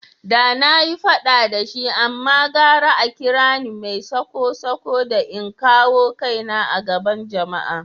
Da na yi fada da shi amma gara a kira ni mai sako-sako da in kawo kaina a gaban jama’a.